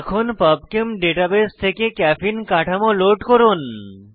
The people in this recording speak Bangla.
এখন পাবচেম ডাটাবেস থেকে ক্যাফেইন ক্যাফিন কাঠামো লোড করুন